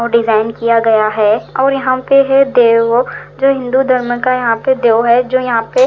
वो डिजाइन किया गया है और यहाँ पे है देवो जो हिंदी धर्म का यहाँ पे देव है जो यहाँ पे--